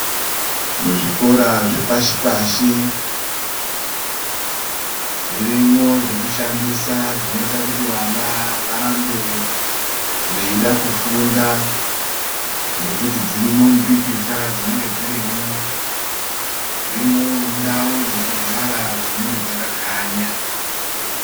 Muzvikora zvepashi pashi zvirimwo zvekushandisa zvinoita kuti vana varambe veida kufunda ngekuti dzirimwo mupikicha dzinenge dziri mwo dzirimwo ndau dzekugara dzinenge dzakakanya.